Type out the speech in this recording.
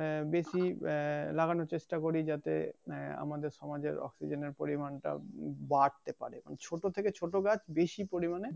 আহ বেশি আহ লাগানোর চেষ্টা করি যাতে আহ আমাদের সমাজে অক্সিজেনের পরিমান টা বাড়তে পারে এবং ছোট থেকে ছোট গাছ বেশি পরিমানে